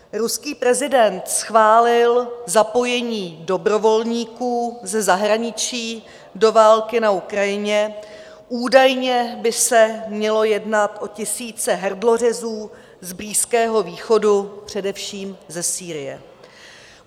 Ruský prezident schválil zapojení dobrovolníků ze zahraničí do války na Ukrajině, údajně by se mělo jednat o tisíce hrdlořezů z Blízkého východu, především ze Sýrie.